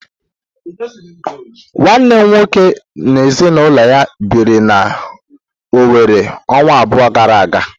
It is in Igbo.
Nwanne nnem na ezinụlọ ya biri na Owere ọnwa abụọ gara aga.